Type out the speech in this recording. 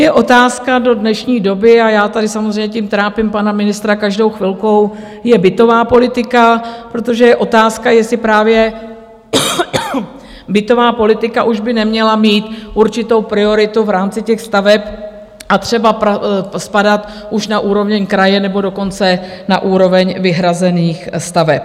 Je otázka do dnešní doby - a já tady samozřejmě tím trápím pana ministra každou chvilku - je bytová politika, protože je otázka, jestli právě bytová politika už by neměla mít určitou prioritu v rámci těch staveb a třeba spadat už na úroveň kraje, nebo dokonce na úroveň vyhrazených staveb.